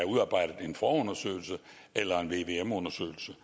udarbejdet en forundersøgelse eller en vvm undersøgelse